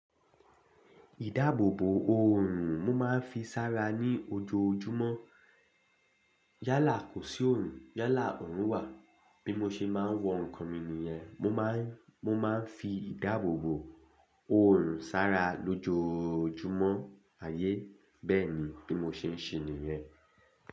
Ìdáàbòbò òòrùn mo máa ń fi sára ní ojoojúmọ́. Yálà kò sí òòrùn, yálà òòrùn wà. Bí mo ṣe máa ń wọ nǹkan mi nìyẹn, mo máa ń, mo máa ń fi ìdáàbòbò òòrùn sára lójoojúmọ́ ayé. Bẹ́ẹ̀ ni bí mo ṣe ń ṣe nìyẹn.